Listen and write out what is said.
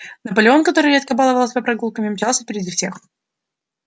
наполеон который редко баловал себя прогулками мчался впереди всех